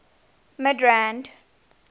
midrand